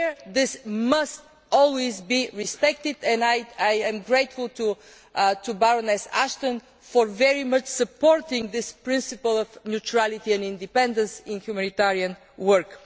This must always be respected and I am grateful to Baroness Ashton for very much supporting this principle of neutrality and independence in humanitarian work.